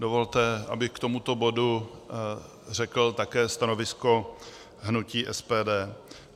Dovolte, abych k tomuto bodu řekl také stanovisko hnutí SPD.